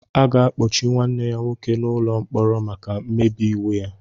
A ga-akpọchi nwanne ya nwoke n'ụlọ mkpọrọ maka mmebi iwu ya